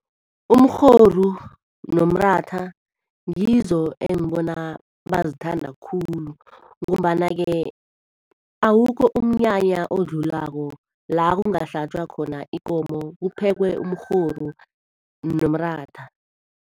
Umrhoru nomratha ngizo engibona bazithanda khulu. Ngombana-ke awukho umnyanya odlulako, la kungahlatjwa khona ikomo, kuphekwe umrhoru nomratha.